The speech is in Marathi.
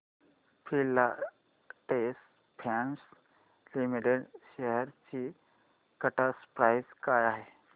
फिलाटेक्स फॅशन्स लिमिटेड शेअर्स ची करंट प्राइस काय आहे